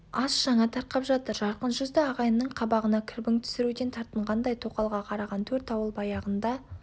ас жаңа тарқап жатыр жарқын жүзді ағайынның қабағына кірбің түсіруден тартынғандай тоқалға қараған төрт ауыл баяғында